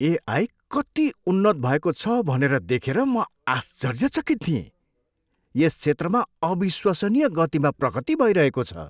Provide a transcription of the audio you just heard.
AI कति उन्नत भएको छ भनेर देखेर म आश्चर्यचकित थिएँ। यस क्षेत्रमा अविश्वसनीय गतिमा प्रगति भइरहेको छ।